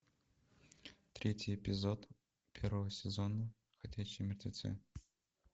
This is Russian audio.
третий эпизод первого сезона ходячие мертвецы